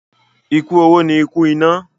Ikú oró ni ikú ìná.